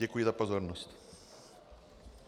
Děkuji za pozornost.